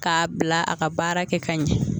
K'a bila a ka baara kɛ ka ɲɛ